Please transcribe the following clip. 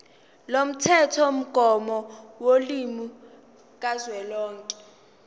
lomthethomgomo wolimi kazwelonke